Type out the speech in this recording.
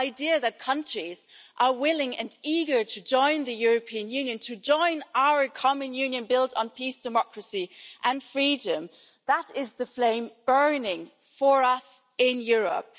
The idea that countries are willing and eager to join the European Union, to join our common union built on peace, democracy and freedom that is the flame burning for us in Europe.